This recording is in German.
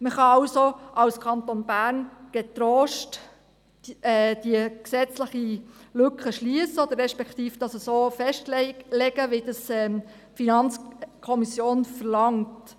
Man kann also als Kanton Bern getrost diese gesetzliche Lücke schliessen, respektive das so festlegen, wie es die FiKo verlangt.